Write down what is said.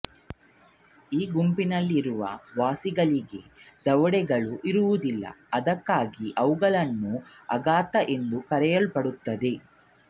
ಈ ಗುಂಪಿನಲ್ಲಿ ಇರುವ ವಾಸಿಗಳಿಗೆ ದವಡೆಗಳು ಇರುವುದಿಲ್ಲ ಅದಕ್ಕಾಗಿ ಅವುಗಳನ್ನು ಅಗ್ನಾಥ ಎಂದು ಕರೆಯಲ್ಪಡುತ್ತದೆ